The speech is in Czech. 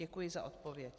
Děkuji za odpověď.